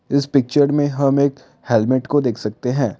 इस पिक्चर में हम एक हेलमेट को देख सकते हैं।